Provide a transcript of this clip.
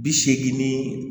Bi seegin ni